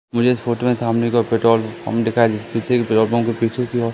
मुझे इस फोटो में सामने का पेट्रोल पंप दिखाइ पीछे पेट्रोल पंप के पीछे की ओर--